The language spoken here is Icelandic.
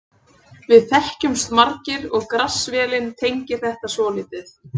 Við þekkjumst margir og Grass-vélin tengir þetta svolítið.